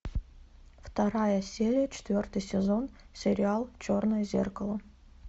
вторая серия четвертый сезон сериал черное зеркало